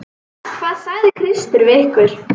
Hvað sagði Kristur við ykkur?